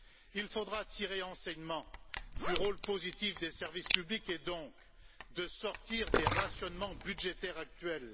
Il faudra tirer un enseignement du rôle positif des services publics et donc sortir des rationnements budgétaires actuels.